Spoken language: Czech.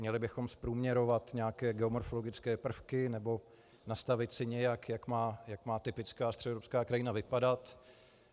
Měli bychom zprůměrovat nějaké geomorfologické prvky nebo nastavit si nějak, jak má typická středoevropská krajina vypadat?